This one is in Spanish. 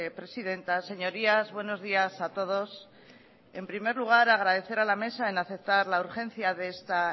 presidenta señorías buenos días a todos en primer lugar agradecer a la mesa en aceptar la urgencia de esta